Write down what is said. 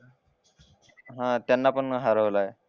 हा त्यांना पण हरवलाय